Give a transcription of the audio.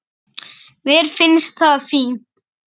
Mér finnst það fínt.